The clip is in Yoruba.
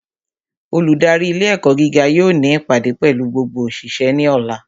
Olùdarí ilé ẹ̀kọ́ gíga yóò ní ìpàdé pẹ̀lú gbogbo òṣìṣẹ́ ní ọ̀la